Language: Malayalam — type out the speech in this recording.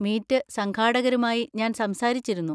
മീറ്റ് സംഘാടകരുമായി ഞാൻ സംസാരിച്ചിരുന്നു.